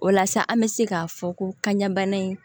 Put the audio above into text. O la sa an bɛ se k'a fɔ ko kanɲa bana in